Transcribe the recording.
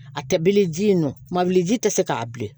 A tɛ bele ji in nɔ mawuli ji tɛ se k'a bilen